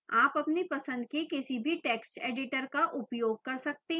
आप अपनी पसंद के किसी भी text editor का उपयोग कर सकते हैं